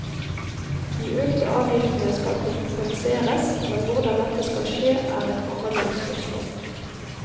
De økte avgiftene skal kompenseres, men hvordan dette skal skje, er et forhandlingsspørsmål.